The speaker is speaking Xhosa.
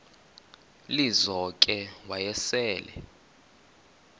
lizo ke wayesel